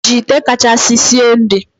i ji ite kachasi sie nri?